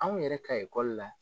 Anw yɛrɛ ka la